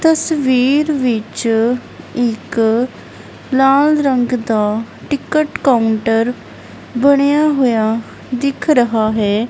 ਤਸਵੀਰ ਵਿੱਚ ਇੱਕ ਲਾਲ ਰੰਗ ਦਾ ਟਿਕਟ ਕਾਊਂਟਰ ਬਣਿਆ ਹੋਇਆ ਦਿਖ ਰਹਾ ਹੈ।